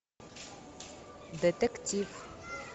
детектив